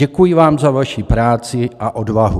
Děkuji vám za vaši práci a odvahu.